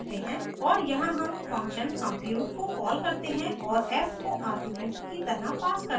और यहाँ हम function compute को कॉल करते हैं और f को आर्ग्यूमेंट की तरह pass करते हैं